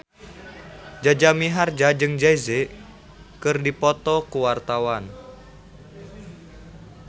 Jaja Mihardja jeung Jay Z keur dipoto ku wartawan